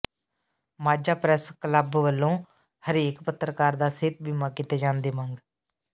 Majha press club ਵੱਲੋਂ ਹਰੇਕ ਪੱਤਰਕਾਰ ਦਾ ਸਿਹਤ ਬੀਮਾ ਕੀਤੇ ਜਾਣ ਦੀ ਮੰਗ